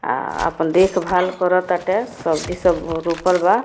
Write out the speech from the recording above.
अ अपन देखभाल कर ताटे सब्जी सब रोपल बा।